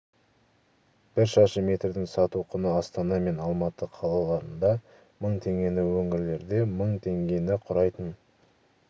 бір шаршы метрдің сату құны астана мен алматы қалаларында мың теңгені өңірлерде мың теңгені құрайтын